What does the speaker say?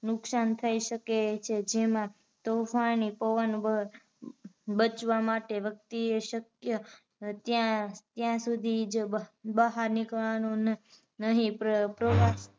નુકસાન થઈ શકે છે. જેમાં તોફાની પવન વ બચવા માટે વ્યક્તિએ શક્ય ત્યા સુધીજ બહાર નીકળવા નુ નહીં પ્ર વા